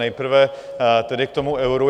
Nejprve tedy k tomu euru.